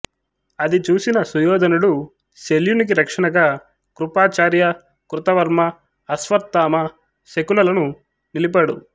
అది చూసిన సుయోధనుడు శల్యునికి రక్షణగా కృపాచార్య కృతవర్మ అశ్వత్థామ శకునులను నిలిపాడు